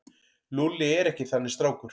Lúlli er ekki þannig strákur.